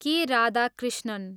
के. राधाकृष्णन